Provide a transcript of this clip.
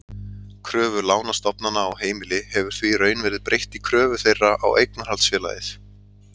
Kröfu lánastofnana á heimili hefur því í raun verið breytt í kröfu þeirra á eignarhaldsfélagið.